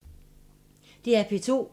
DR P2